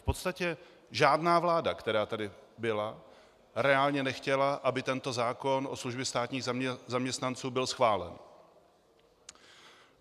V podstatě žádná vláda, která tady byla, reálně nechtěla, aby tento zákon o službě státních zaměstnanců byl schválen.